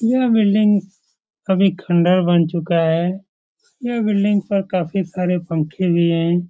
यह बिल्डिंग अभी खंडर बन चुका है | यह बिल्डिंग पर काफी सारे पंखे भी है ।